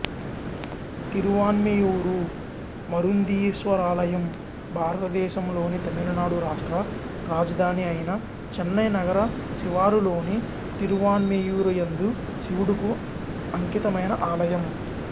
తిరువాన్మియూరు మరుందీశ్వరాలయం భారతదేశంలోని తమిళనాడు రాష్ట్ర రాజధానియైన చెన్నై నగర శివారులోని తిరువాన్మియూరియందు శివుడుకు అంకితమైన ఆలయం